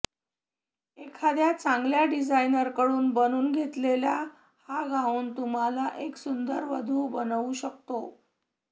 एखाद्या चांगल्या डिझायनरकडून बनवून घेतलेला हा गाउन तुम्हाला एक सुंदर वधू बनवू शकतो